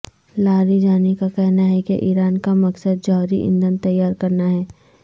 لاری جانی کا کہنا ہے کہ ایران کا مقصد جوہری ایندھن تیار کرنا ہے